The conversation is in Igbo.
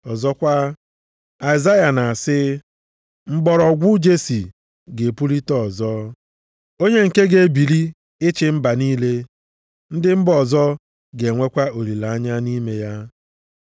Ọzọkwa, Aịzaya na-asị, “Mgbọrọgwụ Jesi ga-epulite ọzọ, onye nke ga-ebili ịchị mba niile, ndị mba ọzọ ga-enwekwa olileanya nʼime ya.” + 15:12 \+xt Aịz 11:10\+xt*